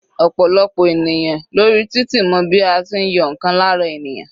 Ọ̀pọ̀lọpọ̀ ènìyàn lórí títì mọ bí a tí ń yọ ǹkan lára ènìyàn.